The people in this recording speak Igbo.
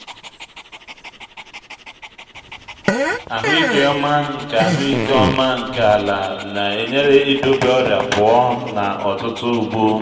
ahụike ọma nke ahụike ọma nke ala na-enyere idobe ọrịa pụọ na ọtụtụ ugbo